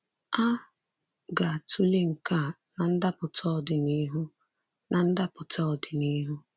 A ga-atụle nke a na ndapụta ọdịnihu. na ndapụta ọdịnihu.